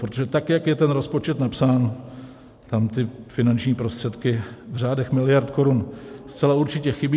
Protože tak jak je ten rozpočet napsán, tam ty finanční prostředky v řádech miliard korun zcela určitě chybí.